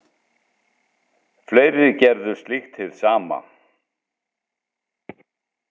Fleiri gerðu slíkt hið sama.